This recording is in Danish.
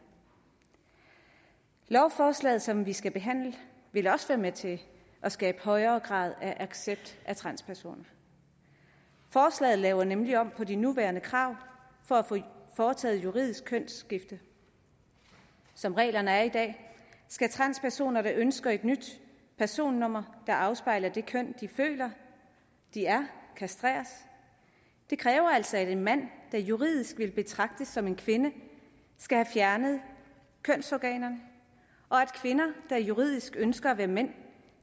lovforslaget som vi skal behandle vil også være med til at skabe højere grad af accept af transpersoner forslaget laver nemlig om på de nuværende krav for at få foretaget juridisk kønsskifte som reglerne er i dag skal transpersoner der ønsker et nyt personnummer der afspejler det køn de føler de er kastreres det kræver altså at en mand der juridisk vil betragtes som en kvinde skal have fjernet kønsorganerne og at kvinder der juridisk ønsker at være mænd